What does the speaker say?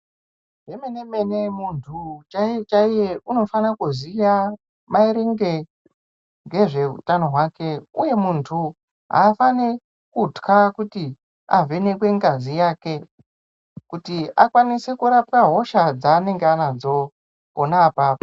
Zvemene-mene muntu chaiye-chaiye unofane kuziya maringe nezvehutano hwake, uye muntu haafani kutwa kuti avhenekwe ngazi yake kuti akwanise kurapwa hosha dzanenge anadzo pona apapo.